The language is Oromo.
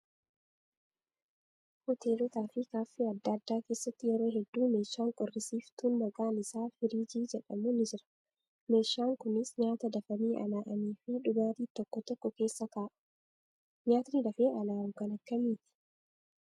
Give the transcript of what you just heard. Hoteelotaa fi kaaffee adda addaa keessatti yeroo hedduu meeshaan qorrisiiftuun maqaan isaa firiijii jedhamu ni jira. Meeshan kunis nyaata dafanii alaa'anii fi dhugaatii tokko tokko keessa kaa'u. Nyaatni dafee alaawu kan akkamiiti?